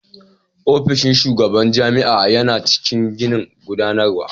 Ofishin shugaban jami'a yana cikin ginin gudanarwa.